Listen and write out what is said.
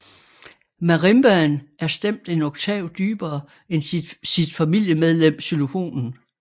Marimbaen er stemt en oktav dybere end sit familiemedlem xylofonen